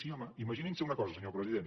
sí home imaginin se una cosa senyor president